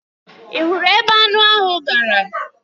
Ị hụrụ ebe anụ ahụ gara?